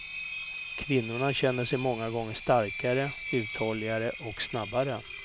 Kvinnorna känner sig många gånger starkare, uthålligare och snabbare.